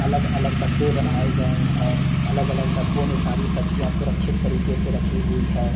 अलग-अलग डब्बे बनाए गए हैं अलग-अलग डब्बों में सारी सब्जियां सुरक्षित तरीके से रखी हुई है।